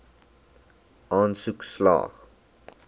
aansoek slaag